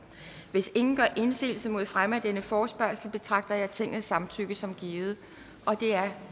hvis ingen gør indsigelse mod fremme af denne forespørgsel betragter jeg tingets samtykke som givet det er